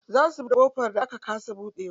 Za su buɗe ƙofar da aka kasa buɗewa.